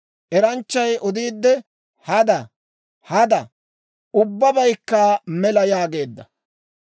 Eranchchay odiidde, «Hada! Hada! Ubbabaykka mela!» yaageedda.